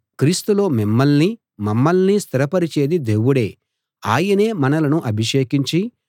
క్రీస్తులో మిమ్మల్నీ మమ్మల్నీ స్థిరపరిచేది దేవుడే ఆయనే మనలను అభిషేకించి